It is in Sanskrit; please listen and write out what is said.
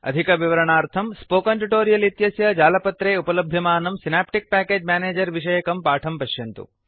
अधिकविवरणार्थं स्पोकन् ट्युटोरियल् इत्यस्य जालपत्रे उपलभ्यमानं सिनाप्टिक् प्याकेज् मेनेजर् विषयकं पाठं पश्यन्तु